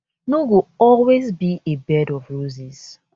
no go always be a bed of roses